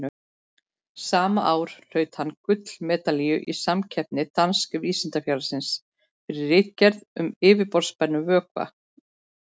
Sama ár hlaut hann gullmedalíu í samkeppni Danska vísindafélagsins, fyrir ritgerð um yfirborðsspennu vökva.